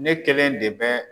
Ne kelen de bɛ